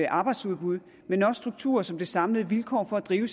arbejdsudbud men også strukturer forstået som de samlede vilkår for at drive